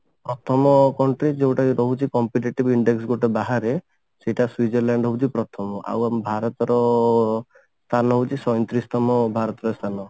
ପ୍ରଥମ country ଯଉଟା କି ରହୁଛି competitive index ଗୋଟେ ବାହାରେ ସେଇଟା ସ୍ଵିଜରଲ୍ୟାଣ୍ଡ ହଉଛି ପ୍ରଥମ ଆଉ ଆମ ଭରତର ସ୍ଥାନ ହଉଛି ସଇଁତିରିଶତମ ଭରତର ସ୍ଥାନ